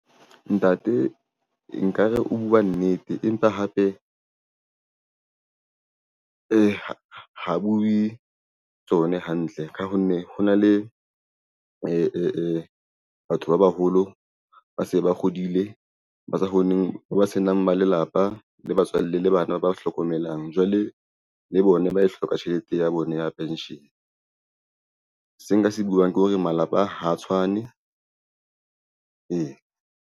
Ntate nkare o bua nnete empa hape ha bue tsone hantle. Ka ho nne ho na le batho ba baholo, ba se ba hodile, ba sa kgoneng, ba senang ba lelapa le batswalle le bana ba hlokomelang. jwale le bona ba e hloka tjhelete ya bona ya pension. Se nka se buang ke hore malapa ha tshwane ee.